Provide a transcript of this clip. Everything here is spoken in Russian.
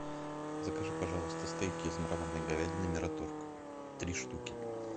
закажи пожалуйста стейки из мраморной говядины мираторг три штуки